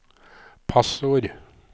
passord